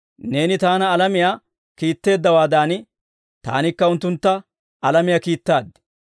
Neeni Taana alamiyaa kiitteeddawaadan, Taanikka unttuntta alamiyaa kiittaad;